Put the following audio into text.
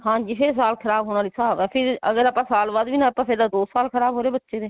ਹਾਂਜੀ ਫੇਰ ਸਾਲ ਖਰਾਬ ਹੋਣ ਵਾਲਾ ਹੀ ਹਿਸਾਬ ਆ ਫ਼ਿਰ ਅਗਰ ਆਪਾਂ ਸਾਲ ਬਾਅਦ ਵੀ ਨਾ ਆਪਾਂ ਫੇਰ ਦੋ ਸਾਲ ਖਰਾਬ ਹੋਗੇ ਬੱਚੇ ਦੇ